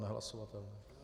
Nehlasovatelné.